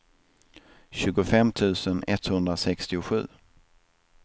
tjugofem tusen etthundrasextiosju